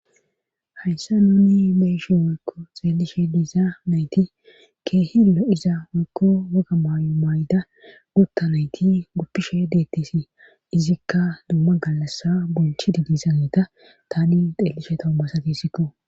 Hayssa nuni beyishe woykko xeellishe diiza nayti keehillo iza woykko woga maayo mayda gutta nayti guppishe deettisi izikka dumma gallassa bonchi di disaneeta tani xelishe toommasatisikko.